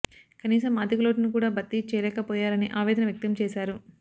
కనీసం ఆర్థిక లోటును కూడా భర్తీ చేయలేకపోయారని ఆవేదన వ్యక్తం చేశారు